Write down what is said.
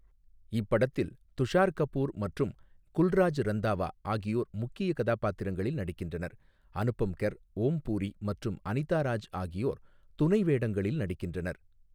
இப்படத்தில் துஷார் கபூர் மற்றும் குல்ராஜ் ரந்தாவா ஆகியோர் முக்கிய கதாபாத்திரங்களில் நடிக்கின்றனர், அனுபம் கெர், ஓம் பூரி மற்றும் அனிதா ராஜ் ஆகியோர் துணை வேடங்களில் நடிக்கின்றனர்.